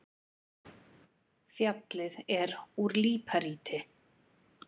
Fjallið er úr líparíti.